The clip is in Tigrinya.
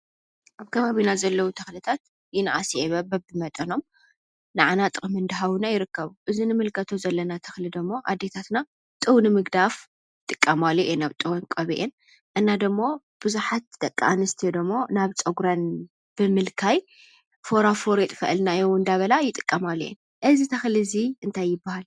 ኣብ ከባቢና ዘለው ተኽልታት ይንኣስ ይዕበ በቢመጠኖም ንዓና ጥቐሚ እንዳሃቡና ይርከቡ፡፡ እዚ ንምልከቶ ዘለና ተኽሊ ደሞ ኣዴታትና ጡብ ንምግዳፍ ይጥቀማሉ እየን ኣብ ጡበን ቀቢአን፡፡ እና ደማ ብዙሓት ደቂ ኣንስትዮ ድማ ናብ ፀጉረን ብምልካይ ፎርፉር የጥፈአልና እዩ እንዳበላ ይጥቀማሉ እየን፡፡ እዚ ተኽሊ እዚ እንታይ ይባሃል?